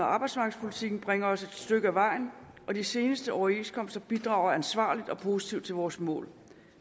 arbejdsmarkedspolitikken bringer os et stykke ad vejen og de seneste overenskomster bidrager ansvarligt og positivt til vores mål